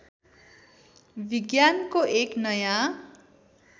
विज्ञानको एक नयाँ